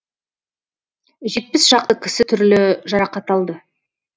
жетпіс шақты кісі түрлі жарақат алды